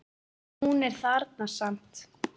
En hún er þarna samt.